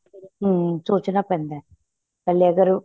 ਹਮ ਸੋਚਣਾ ਪੈਂਦਾ ਪਹਿਲੇ ਅਗ਼ਰ